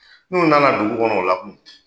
N'u nana dugu kɔnɔ o la kun